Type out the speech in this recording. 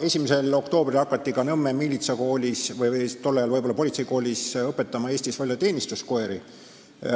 1. oktoobril hakati ka Nõmmel miilitsakoolis või tollal võib-olla politseikoolis õpetama Eestis välja teenistuskoeri,